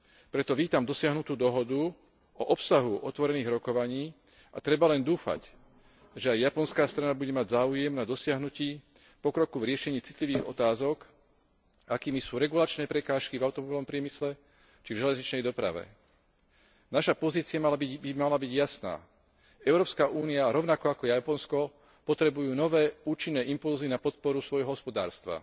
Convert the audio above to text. Preto vítam dosiahnutú dohodu o obsahu otvorených rokovaní a treba len dúfať, že aj japonská strana bude mať záujem na dosiahnutí pokroku v riešení citlivých otázok, akými sú regulačné prekážky v automobilovom priemysle či v železničnej doprave. Naša pozícia by mala byť jasná. Európska únia rovnako ako Japonsko potrebuje nové účinné impulzy na podporu svojho hospodárstva